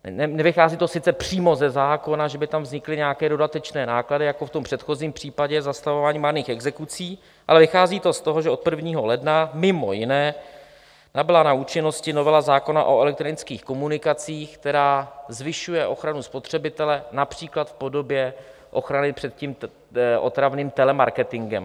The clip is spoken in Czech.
Nevychází to sice přímo ze zákona, že by tam vznikly nějaké dodatečné náklady jako v tom předchozím případě zastavování marných exekucí, ale vychází to z toho, že od 1. ledna mimo jiné nabyla na účinnosti novela zákona o elektronických komunikacích, která zvyšuje ochranu spotřebitele, například v podobě ochrany před tím otravným telemarketingem.